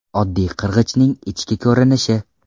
Oddiy qirg‘ichning ichki ko‘rinishi.